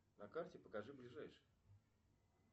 на карте покажи ближайший